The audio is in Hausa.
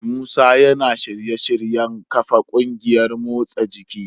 Musa yana shirye-shiryen kafa kungiyar motsa jiki.